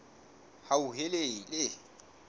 hauhelele